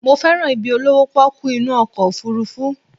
Mo fẹ́ràn ibi olówó pọ́kú inú ọkọ̀ òfurufú